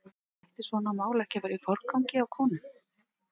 En ætti svona mál ekki að vera í forgangi hjá konum?